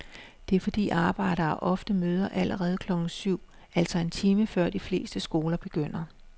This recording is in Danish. Det er fordi arbejdere ofte møder allerede klokken syv, altså en time før de fleste skoler begynder.